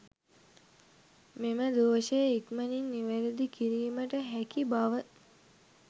මෙම දෝෂය ඉක්මනින් නිවැරදි කිරීමට හැකි බව